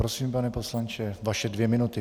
Prosím, pane poslanče, vaše dvě minuty.